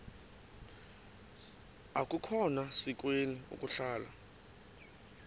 akukhona sikweni ukuhlala